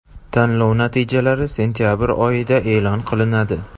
Tanlov natijalari sentabr oyida e’lon qilinadi.